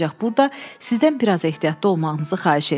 Ancaq burda sizdən biraz ehtiyatlı olmağınızı xahiş eləyirəm.